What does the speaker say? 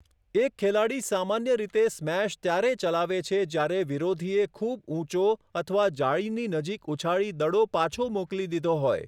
એક ખેલાડી સામાન્ય રીતે સ્મેશ ત્યારે ચલાવે છે જ્યારે વિરોધીએ ખૂબ ઊંચો અથવા જાળીની નજીક ઉછાળી દડો પાછો મોકલી દીધો હોય.